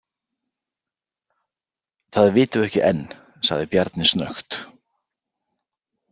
Það vitum við ekki enn, sagði Bjarni snöggt.